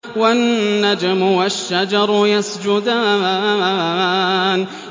وَالنَّجْمُ وَالشَّجَرُ يَسْجُدَانِ